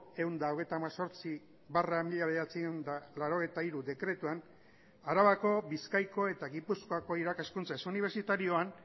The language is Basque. ehun eta hogeita hemezortzi barra mila bederatziehun eta laurogeita hiru dekretuan arabako bizkaiko eta gipuzkoako irakaskuntza ez unibertsitarioan